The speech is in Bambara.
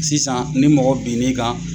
Sisan ni mɔgɔ bin n'i kan